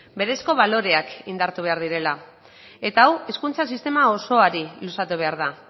berezko baloreak indartu behar direla eta hau hezkuntza sistema osoari luzatu behar da